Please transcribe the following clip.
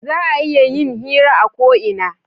Za a iya yin hira a ko ina